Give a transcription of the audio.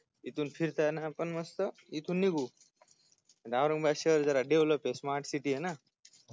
तिथून फिरताना पण आपण मस्त इथुन निघू औरंगाबाद शहर जरा develop smart city ना